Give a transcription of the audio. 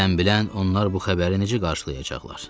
Sən bilən onlar bu xəbəri necə qarşılayacaqlar?